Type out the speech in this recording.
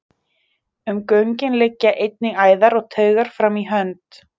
um göngin liggja einnig æðar og taugar fram í hönd